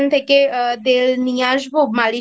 থেকে তেল নিয়ে আসবো মালিশ